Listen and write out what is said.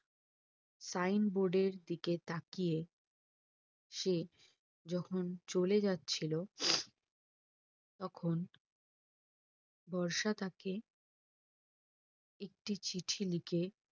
Signboard এর দিকে তাকিয়ে সে যখন চলে যাচ্ছিলো তখন বর্ষা তাকে একটি চিঠি লিখে